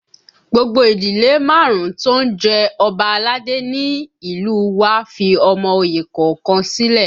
Gbogbo ìdílé márùn-ún tó ń jẹ Ọba aládé ni ní ìlú u wa fi ọmọ oyè kọ̀ọ̀kan sílẹ̀